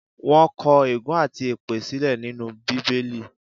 Wọ́n kọ̀ ègún àti èpè sílẹ̀ nínú Bíbélì.